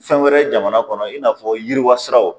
Fɛn wɛrɛ jamana kɔnɔ i n'a fɔ yiriwasiraw.